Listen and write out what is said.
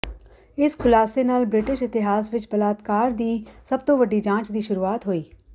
ਇਸ ਖੁਲਾਸੇ ਨਾਲ ਬ੍ਰਿਟਿਸ਼ ਇਤਿਹਾਸ ਵਿੱਚ ਬਲਾਤਕਾਰ ਦੀ ਸਭ ਤੋਂ ਵੱਡੀ ਜਾਂਚ ਦੀ ਸ਼ੁਰੂਆਤ ਹੋਈ